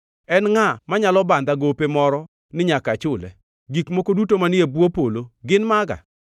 En ngʼa manyalo bandha gope moro ni nyaka achule? Gik moko duto manie bwo polo gin maga.